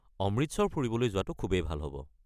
অমৃতসৰ ফুৰিবলৈ যোৱাটো খুবেই ভাল হ'ব।